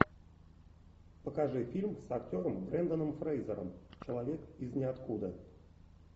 покажи фильм с актером бренданом фрейзером человек из ниоткуда